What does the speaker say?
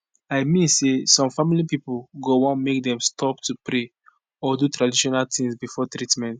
i mean say some family pipo go wan make dem stop to pray or do traditional tings before treatment